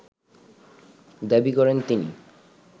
দাবি করেন তিনি